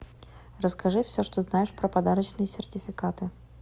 расскажи все что знаешь про подарочные сертификаты